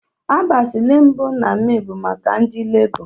Abasli mbu na may bu maka ndi lebọ.